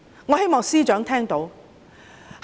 我希望司長聽到。